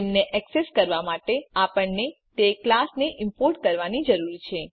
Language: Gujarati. તેમને એક્સેસ કરવા માટે આપણને તે ક્લાસ ને ઈમ્પોર્ટ કરવાની જરૂર છે